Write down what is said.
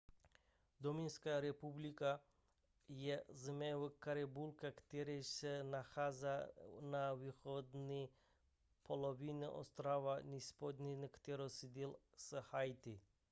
dominikánská republika španělsky: república dominicana je země v karibiku která se nachází na východní polovině ostrova hispaniola kterou sdílí s haiti